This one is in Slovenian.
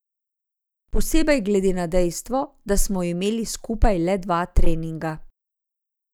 Posebej glede na dejstvo, da smo imeli skupaj le dva treninga.